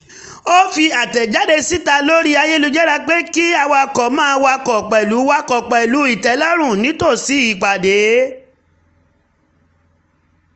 ó fi àtẹ̀jáde síta lori ayélujára pé kí awakọ̀ máa wakọ̀ pẹ̀lú wakọ̀ pẹ̀lú um ìtẹ́lọ́run nítòsí ìpàdé